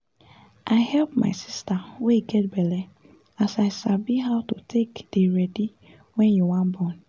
i help my sister wey get belle as i sabi how to take dey ready wen you wan born